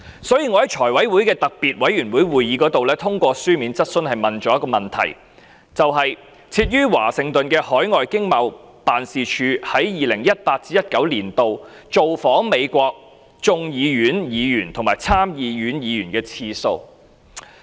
所以，我在財務委員會的特別會議上提出一項書面質詢，詢問設於華盛頓的經貿辦，在 2018-2019 年度造訪美國眾議院議員和參議院議員的次數。